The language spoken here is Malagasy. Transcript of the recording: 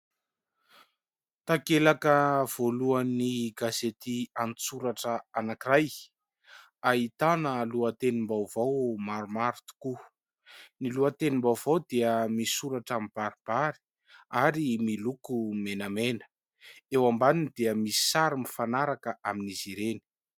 Takelaka voalohany gazety an-tsoratra anan-kiray : ahitana lohatenim-baovao maromaro tokoa. Ny lohatenim-baovao dia misoratra mibaribary ary miloko menamena, eo ambaniny dia misy sary mifanaraka amin'izy ireny.